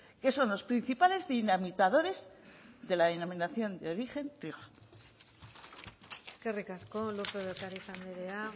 que son los principales dinamitadores de la denominación de origen rioja eskerrik asko lópez de ocariz andrea